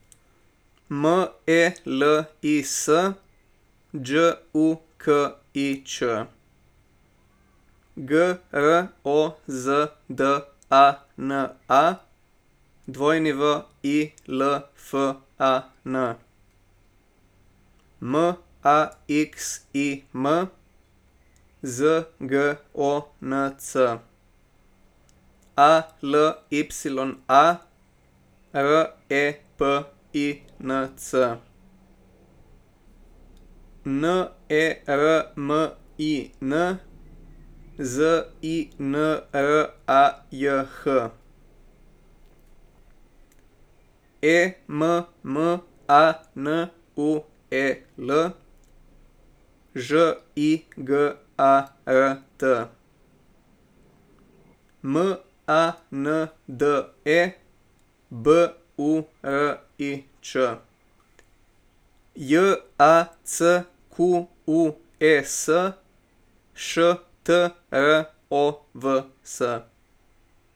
Melis Đukić, Grozdana Wilfan, Maxim Zgonc, Alya Repinc, Nermin Zinrajh, Emmanuel Žigart, Mande Burič, Jacques Štrovs.